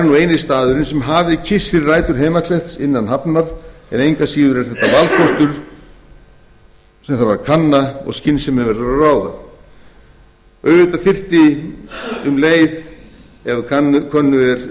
nú eini staðurinn sem hafið kyssir rætur heimakletts innan hafnar engu að síður er þetta valkostur sem þarf að kanna og skynsemin verður að ráða auðvitað